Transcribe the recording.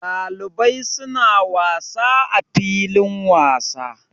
Ɗalibai suna wasa a filin wasa.